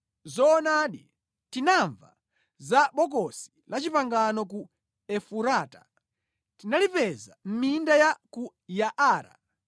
Zoonadi, tinamva za Bokosi la Chipangano ku Efurata, tinalipeza mʼminda ya ku Yaara: